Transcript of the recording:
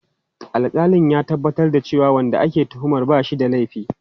Alƙalin ya tabbatar da cewa wanda ake tuhumar ba shi da laifi.